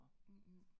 Mhmh